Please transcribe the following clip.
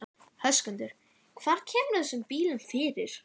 Höskuldur: Hvar kemurðu þessum bílum fyrir?